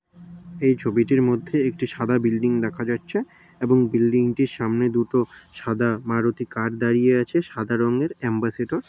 এই ছবিটির এর মধ্যে একটি সাদা বিল্ডিং দেখা যাচ্ছে এবং বিল্ডিং টির সামনে দুটো সাদা মারুতি কার দাঁড়িয়ে আছে। সাদা রঙ্গের অ্যাম্বাসেডর --